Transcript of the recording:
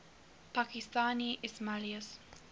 pakistani ismailis